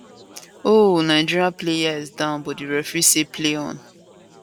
oh nigeria player is down but di referee say play on